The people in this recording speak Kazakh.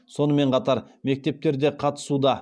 сонымен қатар мектептер де қатысуда